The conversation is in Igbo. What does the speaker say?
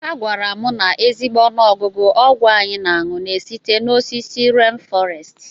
A gwara m na ezigbo ọnụọgụgụ ọgwụ anyị na-aṅu na-esite n'osisi rén fọrestị.